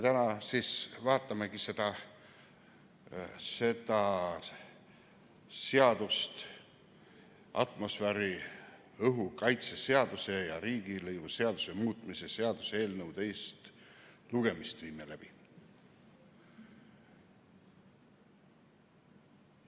Täna siis vaatamegi seda eelnõu, atmosfääriõhu kaitse seaduse ja riigilõivuseaduse muutmise seaduse eelnõu, selle teist lugemist viime läbi.